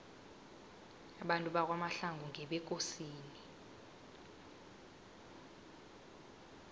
abantu bakwamahlangu ngebekosini